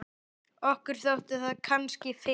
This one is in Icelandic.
Okkur þótti það kannski fyrst.